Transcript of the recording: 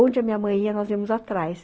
Onde a minha mãe ia, nós íamos atrás.